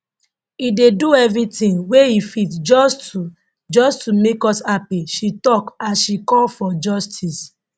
e dey do everytin wey e fit just to just to make us happy she tok as she call for justice